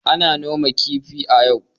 Ana noman kifi a yau.